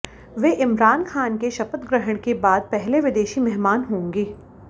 वे इमरान खान के शपथ ग्रहण के बाद पहले विदेशी मेहमान होंगे